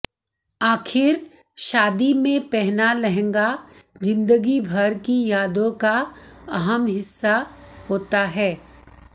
आखिर शादी में पहना लहंगा ज़िंदगी भर की यादों का अहम हिस्सा होता है